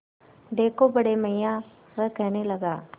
देखो बड़े मियाँ वह कहने लगा